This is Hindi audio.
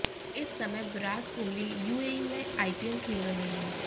इस समय विराट कोहली यूएई में आईपीएल खेल रहे हैं